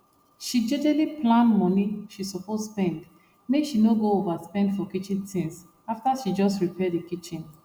she jejely plan money she suppose spendmake she no go overspend for kitchen things after she just repair the kitchen